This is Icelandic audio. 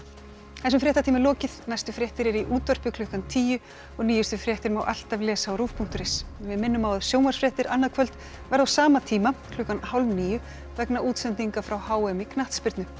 þessum fréttatíma er lokið næstu fréttir eru í útvarpi klukkan tíu og nýjustu fréttir má alltaf lesa á rúv punktur is við minnum á að sjónvarpsfréttir annað kvöld verða á sama tíma klukkan hálf níu vegna útsendinga frá h m í knattspyrnu